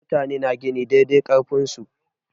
Mutane na gini dai dai ƙarfin su.